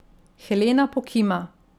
Helena pokima.